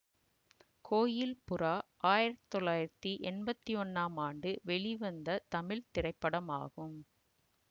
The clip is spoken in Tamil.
கோயில் புறா ஆயிரத்தி தொள்ளாயிரத்தி எம்பத்தி ஒன்னாம் ஆண்டு வெளிவந்த தமிழ் திரைப்படமாகும்